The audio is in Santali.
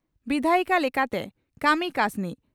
ᱵᱤᱫᱷᱟᱭᱤᱠᱟ ᱞᱮᱠᱟᱛᱮ ᱠᱟᱹᱢᱤ ᱠᱟᱹᱥᱱᱤ